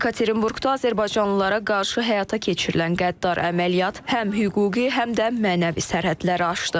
Yekaterinburqda azərbaycanlılara qarşı həyata keçirilən qəddar əməliyyat həm hüquqi, həm də mənəvi sərhədləri aşdı.